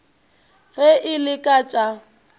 ge e le ka tša